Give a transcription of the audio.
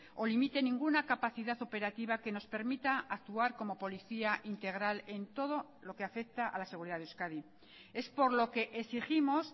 o limite ninguna capacidad operativa que nos permita actuar como policía integral en todo lo que afecta a la seguridad de euskadi es por lo que exigimos